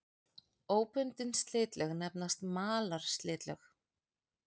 Óbundin slitlög nefnast malarslitlög.